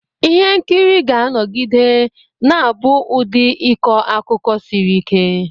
Ihe nkiri ga-anọgide na-abụ ụdị ịkọ akụkọ siri ike.